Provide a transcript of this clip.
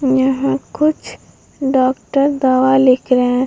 यहाँ कुछ डॉक्टर दवाई लिख रहे है।